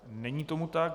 Není tomu tak.